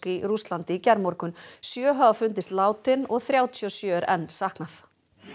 í Rússlandi í gærmorgun sjö hafa fundist látin og þrjátíu og sjö er enn saknað